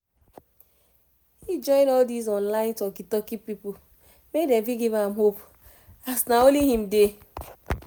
he join all this online talki talki people make them fit give am hope as nah only him dey